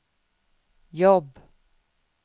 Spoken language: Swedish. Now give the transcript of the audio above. jobb